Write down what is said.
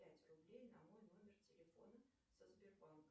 пять рублей на мой номер телефона со сбербанка